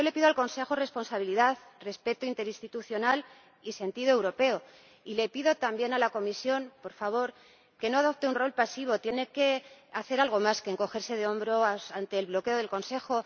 Le pido al Consejo responsabilidad, respeto interinstitucional y sentido europeo, y también le pido a la Comisión que, por favor, no adopte un rol pasivo, tiene que hacer algo más que encogerse de hombros ante el bloqueo del Consejo.